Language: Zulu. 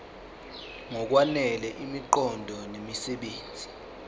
ngokwanele imiqondo nemisebenzi